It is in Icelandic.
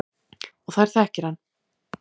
Og þær þekki hann.